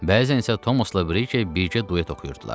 Bəzən isə Tomosla Brike birgə duet oxuyurdular.